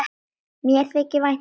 Mér þykir vænt um þig.